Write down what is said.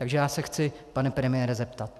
Takže já se chci, pane premiére, zeptat.